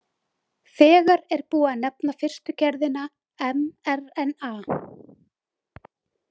Þegar er búið að nefna fyrstu gerðina, mRNA.